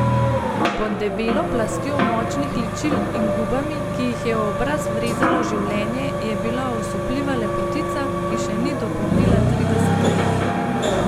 Pod debelo plastjo močnih ličil in gubami, ki jih je v obraz vrezalo življenje, je bila osupljiva lepotica, ki še ni dopolnila trideset let.